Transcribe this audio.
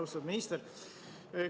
Austatud minister!